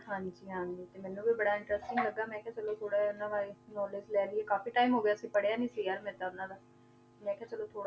ਹਾਂਜੀ ਹਾਂਜੀ ਤੇ ਮੈਨੂੰ ਵੀ ਬੜਾ interesting ਲੱਗਾ ਮੈਂ ਕਿਹਾ ਚਲੋ ਥੋੜ੍ਹਾ ਜਿਹਾ ਇਹਨਾਂ ਬਾਰੇ knowledge ਲੈ ਲਈਏ, ਕਾਫ਼ੀ time ਹੋ ਗਿਆ ਸੀ ਪੜ੍ਹਿਆ ਨੀ ਸੀ ਯਾਰ ਮੈਂ ਤਾਂ ਇਹਨਾਂ ਦਾ, ਮੈਂ ਕਿਹਾ ਚਲੋ ਥੋੜ੍ਹਾ